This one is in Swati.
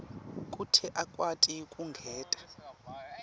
kute akwati kwengeta